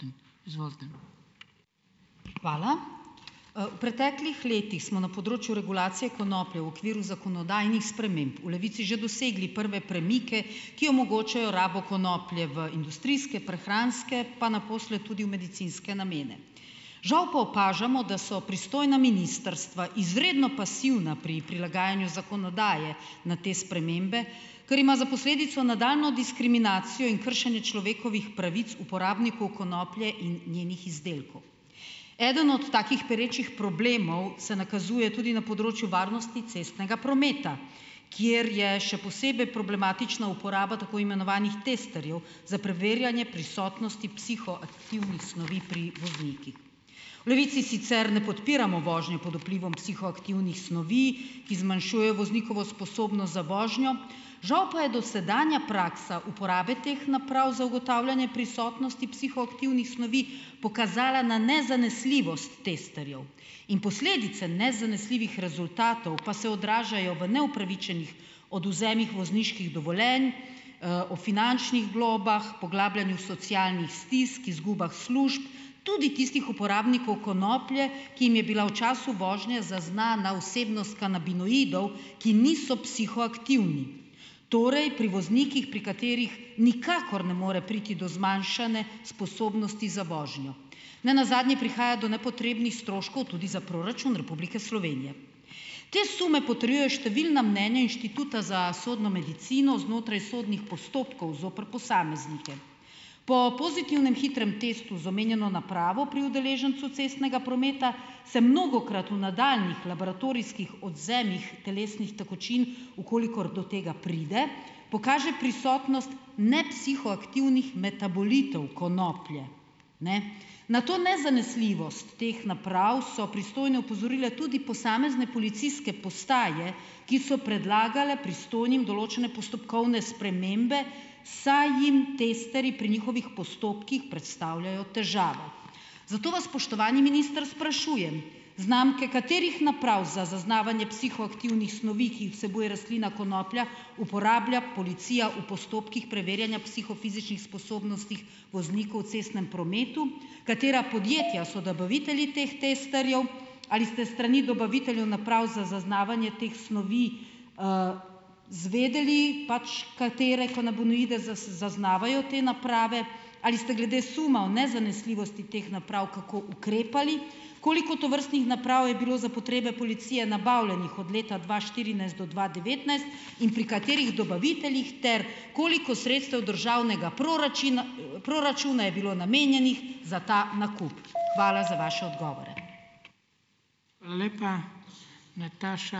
Hvala. V preteklih letih smo na področju regulacije konoplje v okviru zakonodajnih sprememb v Levici že dosegli prve premike, ki omogočajo rabo konoplje v industrijske, prehranske, pa naposled tudi v medicinske namene. Žal pa opažamo, da so pristojna ministrstva izredno pasivna pri prilagajanju zakonodaje na te spremembe, ker ima za posledico nadaljnjo diskriminacijo in kršenje človekovih pravic uporabnikov konoplje in njenih izdelkov. Eden od takih perečih problemov se nakazuje tudi na področju varnosti cestnega prometa, kjer je še posebej problematična uporaba tako imenovanih testerjev za preverjanje prisotnosti psihoaktivnih snovi pri voznikih. V Levici sicer ne podpiramo vožnje pod vplivom psihoaktivnih snovi , ki zmanjšujejo voznikovo sposobnost za vožnjo, žal pa je dosedanja praksa uporabe teh naprav za ugotavljanje prisotnosti psihoaktivnih snovi pokazala na nezanesljivost testerjev. In posledice nezanesljivih rezultatov, pa se odražajo v neupravičenih odvzemih vozniških dovoljenj, o finančnih globah, poglabljanju socialnih stisk, izgubah služb tudi tistih uporabnikov konoplje, ki jim je bila v času vožnje zaznana vsebnost kanabinoidov, ki niso psihoaktivni. Torej, pri voznikih, pri katerih nikakor ne more priti do zmanjšane sposobnosti za vožnjo. Nenazadnje prihaja do nepotrebnih stroškov tudi za proračun Republike Slovenije. Te sume potrjujejo številna mnenja Inštituta za sodno medicino znotraj sodnih postopkov zoper posameznike. Po pozitivnem hitrem testu z omenjeno napravo pri udeležencu cestnega prometa, se mnogokrat v nadaljnjih laboratorijskih odvzemih telesnih tekočin, v kolikor do tega pride, pokaže prisotnost nepsihoaktivnih metabolitov konoplje, ne. Na to nezanesljivost teh naprav so pristojne opozorile tudi posamezne policijske postaje, ki so predlagale pristojnim določene postopkovne spremembe, saj jim testerji pri njihovih postopkih predstavljajo težavo. Zato vas, spoštovani minister, sprašujem: znamke katerih naprav za zaznavanje psihoaktivnih snovi, ki jih vsebuje rastlina konoplja, uporablja policija v postopkih preverjanja psihofizičnih sposobnosti voznikov v cestnem prometu? Katera podjetja so dobavitelji teh testerjev? Ali ste s strani dobaviteljev naprav za zaznavanje teh snovi izvedeli, pač katere kanabinoide zaznavajo te naprave? Ali ste glede suma o nezanesljivosti teh naprav kako ukrepali? Koliko tovrstnih naprav je bilo za potrebe policije nabavljenih od leta dva štirinajst do dva devetnajst in pri katerih dobaviteljih? Ter koliko sredstev državnega proračuna je bilo namenjenih za ta nakup? Hvala za vaše odgovore.